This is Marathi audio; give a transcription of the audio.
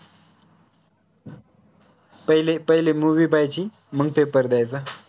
पहिले पहिले movie पाहायची मंग paper द्यायचा